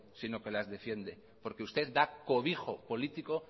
sino que las defiende porque usted da cobijo político